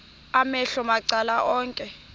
amehlo macala onke